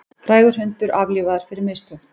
Frægur hundur aflífaður fyrir mistök